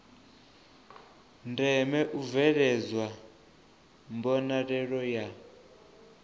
ndeme u bveledzwa mbonalelo ya